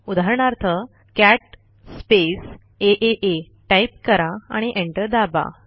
उदाहरणार्थ cat space आ type करा आणि एंटर दाबा